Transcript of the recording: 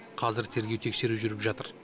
қазір тергеу тексеру жүріп жатыр